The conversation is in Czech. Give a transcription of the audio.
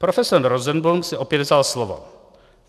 Profesor Rosenblum si opět vzal slovo.